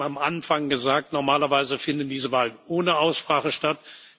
Ich habe eben am Anfang gesagt Normalerweise findet diese Wahl ohne Aussprache statt.